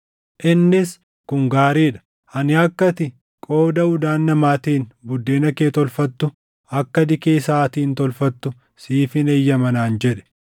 Innis, “Kun gaarii dha; ani akka ati qooda udaan namaatiin buddeena kee tolfattu akka dikee saʼaatiin tolfattu siifin eeyyama” naan jedhe.